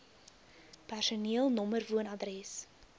personeel nr woonadres